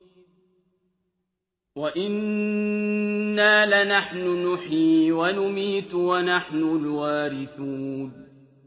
وَإِنَّا لَنَحْنُ نُحْيِي وَنُمِيتُ وَنَحْنُ الْوَارِثُونَ